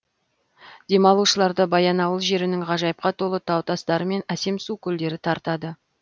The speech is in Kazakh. демалушыларды баянауыл жерінің ғажайыпқа толы тау тастары мен әсем су көлдері тартады